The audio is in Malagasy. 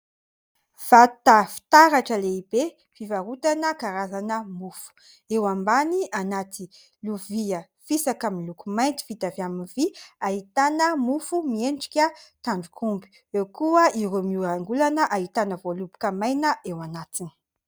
Vata fitaratra lehibe fivarotana karazana mofo. Eo ambany, anaty lovia fisaka miloko mainty vita avy amin'ny vy, ahitana mofo miendrika tandrok'omby ; eo koa ireo miolanolana, ahitana voaloboka maina eo anatiny.